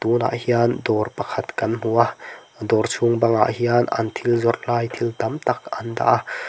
tunah hian dawr pakhat kan hmu a dawr chhung bangah hian an thil zawrhlai thil tamtak an dah a--